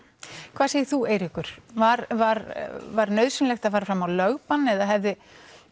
hvað segir þú Eiríkur var var var nauðsynlegt að fara fram á lögbann eða hefði